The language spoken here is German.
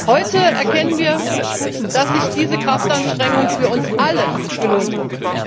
Heute erkennen wir, dass sich diese Kraftanstrengung für uns alle gelohnt hat.